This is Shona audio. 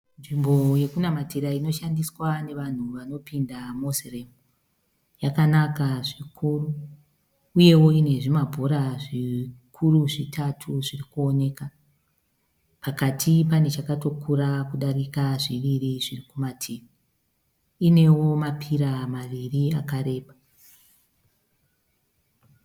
Nzvimbo yekunamatira inoshandiswa nevanhu vanopinda Moslem yakanaka zvikuru uyewo ine zvimabhora zvikuru zvitatatu zvirikoneka pakati panechakatokura kudarika zviviri zviri kumativi. Inewo mapira maviri akareba.